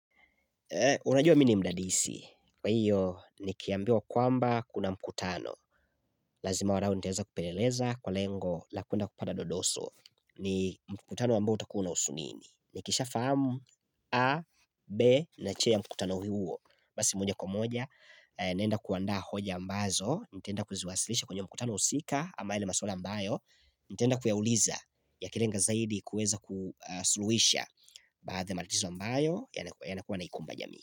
Unajua mi ni mdadisi, kwa hiyo nikiambiwa kwamba kuna mkutano, lazima wanao nitaeza kupeleleza kwa lengo la kwenda kupata dodoso ni mkutano ambao utakuwa unahusu nini, nikisha fahamu A, B na che ya mkutano huo, basi moja kwa moja, naenda kuanda hoja ambazo, nitaenda kuziwasilisha kwenye mkutano husika ambaye ile maswala ambayo, nitenda kuyauliza yakilenga zaidi kueza kusuluhisha baadhi ya matatizo ambayo yanakuwa yanaikumba jamii.